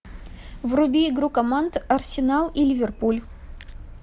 вруби игру команд арсенал и ливерпуль